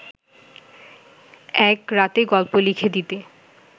এক রাতে গল্প লিখে দিতে